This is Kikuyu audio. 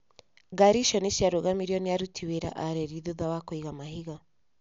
Ngari icio nĩ ciarũgamirio nĩ aruti wĩra a reri thutha wa kũiga mahiga.